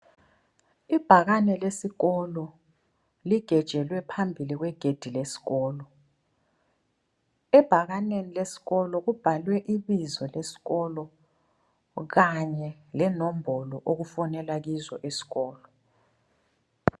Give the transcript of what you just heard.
Ibhakane lesikolo ligejelwe phambili kwegedi lesikolo, ebhakaneni lesikolo kubhalwe ibizo lesikolo kanye lenombolo okufonelwa kizo esikolo.